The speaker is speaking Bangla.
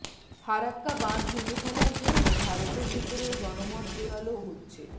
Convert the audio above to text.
ফারাক্কা বাঁধ ভেঙে ফেলার জন্য ভারতের ভেতরেও জনমত জোরালো হচ্ছে